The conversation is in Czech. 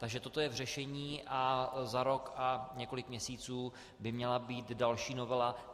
Takže toto je v řešení a za rok a několik měsíců by měla být další novela.